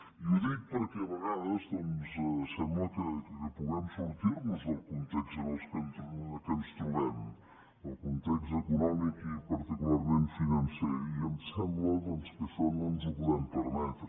i ho dic perquè a vegades doncs sembla que puguem sortir nos del context en què ens trobem el context econòmic i particularment financer i em sembla doncs que això no ens ho podem permetre